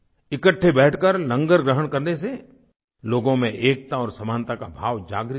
इकट्ठे बैठकर लंगर ग्रहण करने से लोगों में एकता और समानता का भाव जागृत हुआ